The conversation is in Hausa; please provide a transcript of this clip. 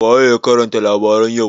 waye ya karanta labaran yau?